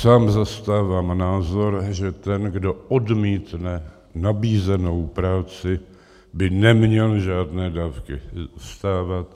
Sám zastávám názor, že ten, kdo odmítne nabízenou práci, by neměl žádné dávky dostávat.